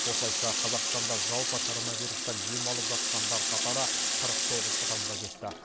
осылайша қазақстанда жалпы коронавирустан ем алып жатқандар қатары қырық тоғыз адамға жетті